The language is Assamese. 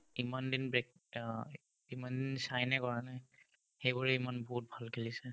ইমানদিন ব্ৰেক অ ইমানদিন চাইনাই কৰা নাই সেইবোৰে ইমান বহুত ভাল খেলিছে